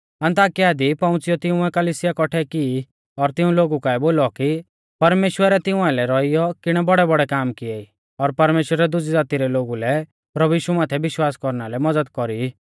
अन्ताकिया दी पौउंच़ियौ तिंउऐ कलिसिया कौट्ठै की और तिऊं लोगु काऐ बोलौ कि परमेश्‍वरै तिऊं आइलै रौइयौ किणै बौड़ैबौड़ै काम किएई और परमेश्‍वरै दुजी ज़ाती रै लोगु लै प्रभु यीशु माथै विश्वास कौरना लै मज़द कौरी